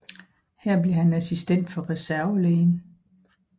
Her blev han assistent for reservelægen